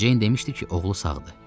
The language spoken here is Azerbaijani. Ceyn demişdi ki, oğlu sağdı.